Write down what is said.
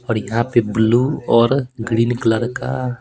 और यहां पे ब्लू और ग्रीन कलर का--